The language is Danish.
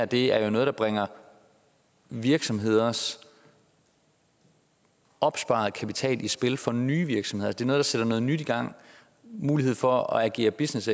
det er jo noget der bringer virksomheders opsparede kapital i spil for nye virksomheder det er noget der sætter noget nyt i gang mulighed for at agere business